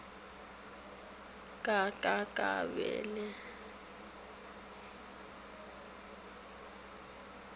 ka ka ka ba le